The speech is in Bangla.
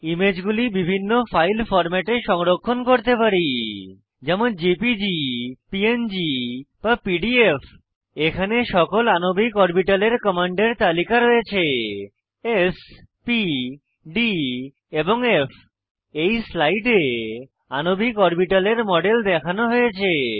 ইমেজগুলি বিভিন্ন ফাইল ফরম্যাটে সংরক্ষণ করতে পারি যেমন জেপিজি প্যাং বা পিডিএফ এখানে সকল আণবিক অরবিটালের কমান্ডের তালিকা রয়েছে স্ প ডি এবং ফ এই স্লাইডে আণবিক অরবিটালের মডেল দেখানো হয়েছে